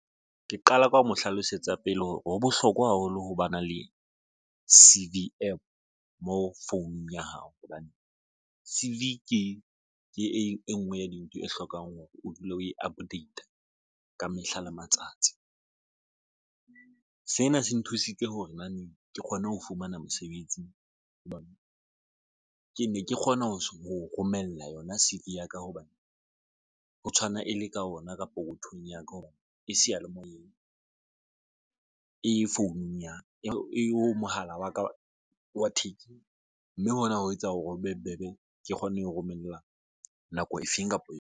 Ke qala ka ho mo hlalosetsa pele hore ho bohlokwa haholo ho ba na le C_V APP mo founung ya hao hobane C_V ke ke e nngwe ya dintho e hlokang hore o dule o e update a ka mehla le matsatsi sena se nthusitse hore ke kgone ho fumana mosebetsi hobane ke ne ke kgona ho romella yona C_V ya ka, hobane ho tshwana e le ka ona kapa hothweng ya rona e seyalemoyeng e foununyana e, o mohala wa ka wa thekeng mme hona ho etsa hore ho be bobebe. Ke kgone ho romella nako efeng kapa eo.